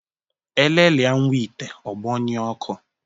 Elelia nwa ite, ọ gbọṅyue ọkụ